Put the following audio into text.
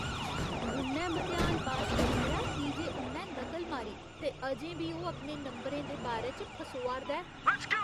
उ'न्नै मतेहान पास करी लेआ की जे उ'न्नै नकल मारी ते अजें बी ओह् अपने नंबरें दे बारे च फसोआ 'रदा ऐ।